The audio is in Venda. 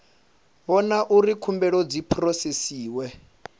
vhona uri khumbelo dzi phurosesiwa